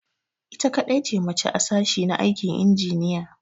Ita kadai ce mace a sashi na aikin injiniya.